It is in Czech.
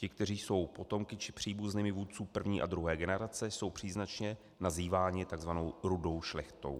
Ti, kteří jsou potomky či příbuznými vůdců první a druhé generace, jsou příznačně nazýváni tzv. rudou šlechtou.